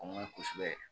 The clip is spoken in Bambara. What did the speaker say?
O man ɲi kosɛbɛ